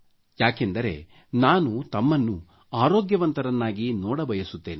ಯಾಕೆಂದರೆ ನಾನು ತಮ್ಮನ್ನು ಆರೋಗ್ಯವಂತರನ್ನಾಗಿ ನೋಡ ಬಯಸುತ್ತೇನೆ